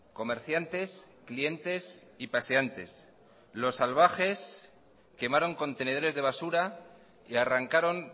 comerciantes clientes y paseantes isiltasuna mesedez los salvajes quemaron contenedores de basura y arrancaron